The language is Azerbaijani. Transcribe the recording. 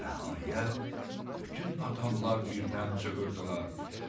Nəhayət, bütün adamlar birdən çığırdılar: